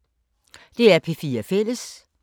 DR P4 Fælles